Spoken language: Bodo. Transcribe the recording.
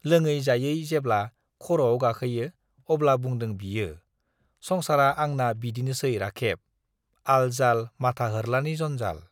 लोङै-जायै जेब्ला खर'आव गाखोयो अब्ला बुंदों बियो, संसारा आंना बिदिनोसै राखेब, आल-जाल माथा होर्लानि जन्जाल।